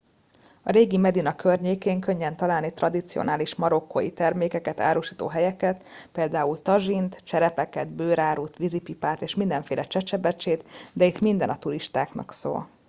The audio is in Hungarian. a régi medina környékén könnyen találni tradicionális marokkói termékeket árusító helyeket pl tazsint cserepeket bőrárut vízipipát és mindenféle csecsebecsét de itt minden a turistáknak szól